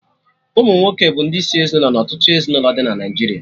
Ụmụnwoke bụ ndị isi ezinụlọ na ọtụtụ ezinụlọ dị na Naijiria